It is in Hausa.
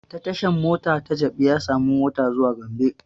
Ta tashan mota ta jabi ya samu motan zuwa gombe